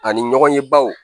Ani ɲɔgɔnyebaw